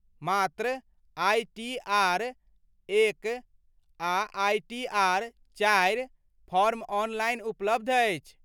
मात्र आइटीआर एक आ आइटीआर चारि फॉर्म ऑनलाइन उपलब्ध अछि।